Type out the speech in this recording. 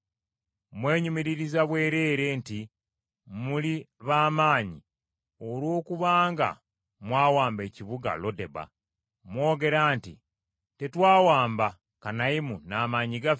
Mwenyumiririza bwereere nti muli b’amaanyi olw’okuba nga mwawamba ekibuga Lodeba. Mwogera nti, “Tetwawamba Kanayimu n’amaanyi gaffe?”